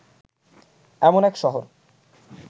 এমন এক শহর